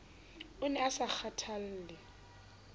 o ne a sa kgathalle